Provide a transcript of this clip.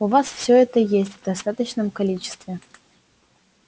у вас всё это есть в достаточном количестве